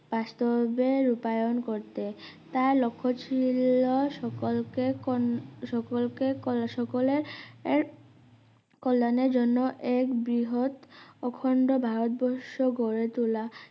বাস্তবে রূপায়ণ করতে তার লক্ষ ছিল সকলকে কোন~সকলকে কল সকলের এর কল্যাণের জন এক বৃহদ অখণ্ড ভারতবর্ষ গড়েতোলা